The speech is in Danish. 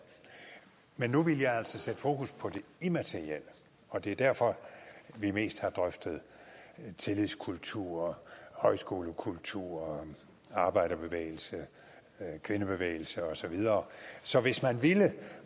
men nu ville jeg altså sætte fokus på det immaterielle og det er derfor vi mest har drøftet tillidskultur højskolekultur arbejderbevægelse kvindebevægelse og så videre så hvis man ville